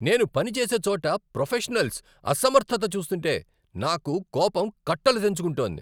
నేను పని చేసే చోట ప్రొఫెషనల్స్ అసమర్థత చూస్తుంటే నాకు కోపం కట్టలుతెంచుకుంటోంది.